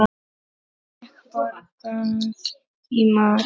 Fékk borgað í mat.